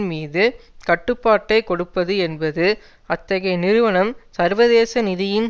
மீது கட்டுப்பாட்டை கொடுப்பது என்பது அத்தகைய நிறுவனம் சர்வதேச நிதியின்